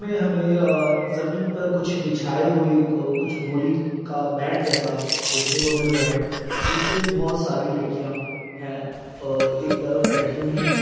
इसमें हमे जमीन पर कुछ बिछाये ऐ हुए कुछ बिछाये हुए बोरी का मेट जैसा देखने को मिल रहा है इसपे बहोत सारी लडकिया है और एक तरफ बैठी हुई है।